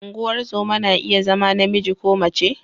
Ungozoma na iya zama namiji ko mace.